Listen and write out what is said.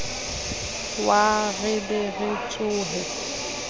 wa re be re tsohe